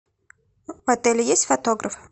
в отеле есть фотограф